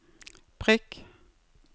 prikk